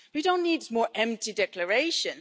We don't need more empty declarations.